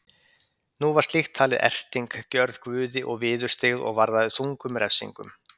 Nú var slíkt talið erting gjörð guði og viðurstyggð og varðaði þungum refsingum.